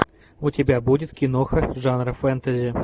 у тебя будет киноха жанра фэнтези